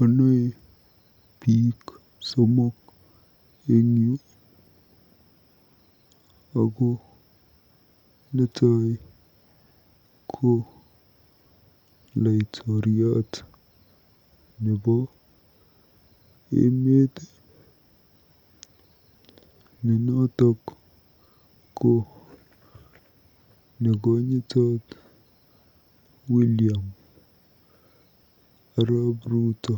Onoe biik somok eng yu ako netai ko laitoriat nebo emeet ne noto ko nekonyitot William arap Ruto.